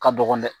Ka dɔgɔn dɛ